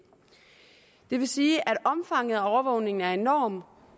det vil sige at omfanget af overvågningen er enorm